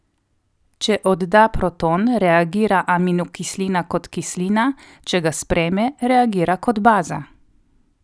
Če odda proton, reagira aminokislina kot kislina, če ga sprejme, reagira kot baza.